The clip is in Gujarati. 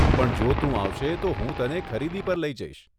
પણ જો તું આવશે, તો હું તને ખરીદી પર લઇ જઈશ.